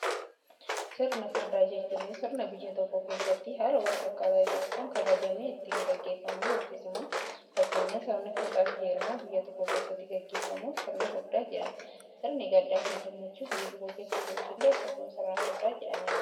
Sirna furdaa jechuun sirna biyya tokko keessatti haala wal fakkaataa tokko kabajni itti gaggeeffamuu yookiin simu fakkeenya sirni fuudhaa fi heerumaa biyya tokko keessatti gaggeeffamu sirna furdaa jedhama. Sirni gaddaa fi gammachuu biyya tokko keessa jirus illee akkasuma sirna furdaa jedhamee beekama.